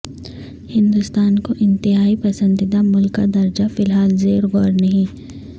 ہندوستان کو انتہائی پسندیدہ ملک کا درجہ فی الحال زیر غور نہیں